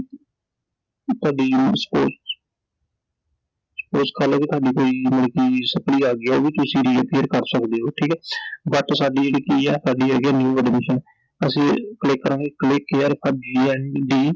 ਤੁਹਾਡੀ suppose suppose ਕਰਲੋ ਕਿ ਤੁਹਾਡੀ ਕੋਈ ਮਤਲਬ ਕਿ Suppli ਆਗੀ ਆ ਉਹ ਵੀ ਤੁਸੀਂ Re-appear ਕਰ ਸਕਦੇ ਓ I ਠੀਕ ਆ I But ਸਾਡੀ ਜਿਹੜੀ ਕੀ ਆ, ਸਾਡੀ ਹੈਗੀ ਆ New Admission ਤਾਂ ਅਸੀਂ click ਕਰਾਂਗੇ click here atGNDU